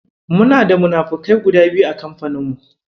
Muna da munafukai guda biyu a kamfanin mu.